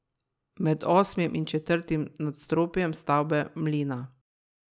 Med osmim in četrtim nadstropjem stavbe mlina.